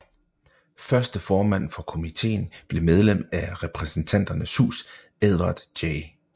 Første formand for komitéen blev medlem af Repræsentanternes Hus Edward J